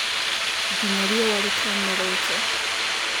nginya riũwa ritaumĩrĩte.